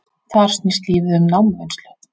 Þar snýst lífið um námuvinnslu